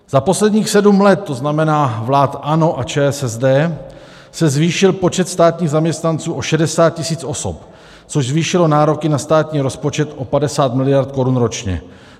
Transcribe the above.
Za posledních sedm let, to znamená vlád ANO a ČSSD, se zvýšil počet státních zaměstnanců o 60 tisíc osob, což zvýšilo nároky na státní rozpočet o 50 miliard korun ročně.